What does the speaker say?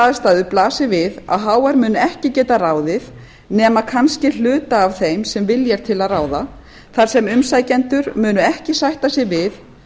aðstæður blasir við að hr mun ekki geta ráðið nema kannski hluta af þeim sem vilja til að ráða þar sem umsækjendur munu ekki sætta sig við